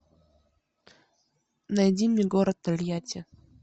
найди мне город тольятти